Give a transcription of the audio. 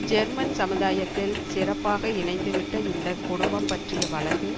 German சமுதாயத்தில் சிறப்பாக இணைந்து விட்ட இந்த குடும்பம் பற்றிய வழக்கு